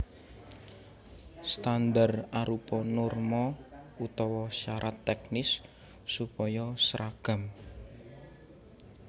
Standar arupa norma utawa sarat tèknis supaya sragam